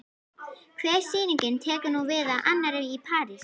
Hver sýningin tekur nú við af annarri- Í París